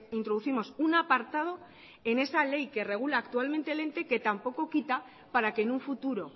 introducimos un apartado en esa ley que regula actualmente el ente que tampoco quita para que en un futuro